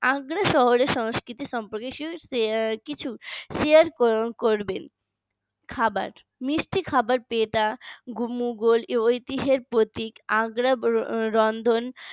আগ্রা শহরের সংস্কৃতি সম্পর্কে কিছু share করবেন। খাবার মিষ্টি খাবার পেটা মুঘল ঐতিহাসিক প্রতীক আগ্রারন্ধন